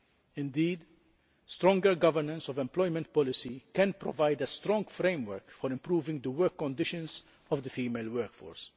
Indeed, stronger governance of employment policy can provide a strong framework for improving the work conditions of the female workforce.